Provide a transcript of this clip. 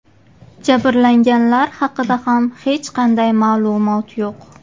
Jabrlanganlar haqida ham hech qanday ma’lumot yo‘q.